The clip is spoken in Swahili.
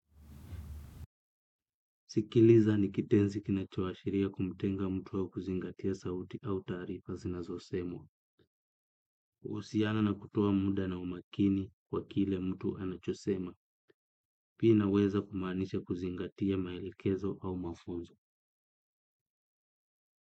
Sikiliza ni kitensi kinachowashiria kumutenga mtu wa kuzingatia sauti au tarifa zinazosemwa. Usiana na kutuwa muda na umakini kwa kile mtu anachosema, pia inaweza kumanisha kuzingatia mailekezo au mafunzo.